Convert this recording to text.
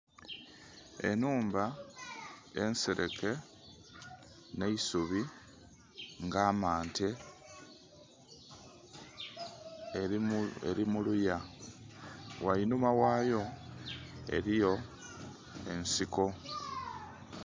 Enhumba ensereke n'eisubi nga mmante eri muluya ghainhuma wayo eriyo ensiko.